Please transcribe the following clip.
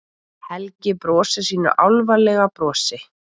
Helgi brosir sínu álfalega brosi.